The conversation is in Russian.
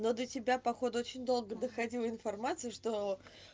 но до тебя походу очень долго доходило информацию что